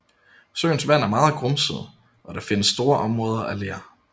Søens vand er meget grumset og der findes store områder af ler